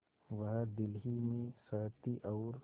वह दिल ही में सहती और